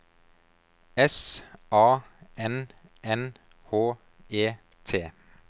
S A N N H E T